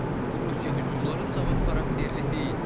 bu Rusiya hücumları cavab xarakterli deyil.